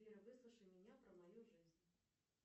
сбер выслушай меня про мою жизнь